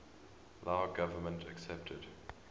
lao government accepted